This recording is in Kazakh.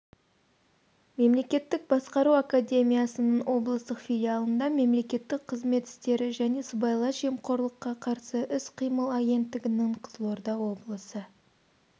мемлекеттік басқару академиясының облыстық филиалында мемлекеттік қызмет істері және сыбайлас жемқорлыққа қарсы іс-қимыл агенттігінің қызылорда облысы